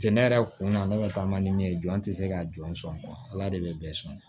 Jɛnɛ yɛrɛ kun na ne bɛ taa man di min ye jɔn tɛ se ka jɔn sɔn ala de bɛ bɛɛ sɔn